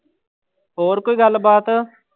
ਹੋਰ ਕੋਈ ਗੱਲਬਾਤ।